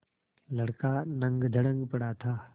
लड़का नंगधड़ंग पड़ा था